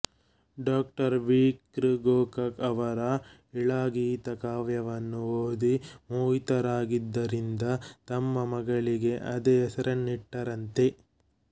doctor V ಕೃ ಗೋಕಾಕ್ ಅವರ ಇಳಾಗೀತ ಕಾವ್ಯವನ್ನು ಓದಿ ಮೋಹಿತರಾಗಿದ್ದರಿಂದ ತಮ್ಮ ಮಗಳಿಗೆ ಅದೇ ಹೆಸರನ್ನಿಟ್ಟರಂತೆ